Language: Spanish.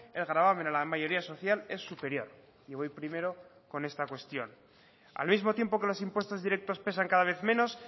el gravamen a la mayoría social es superior y voy primero con esta cuestión al mismo tiempo que los impuestos directos pesan cada vez menos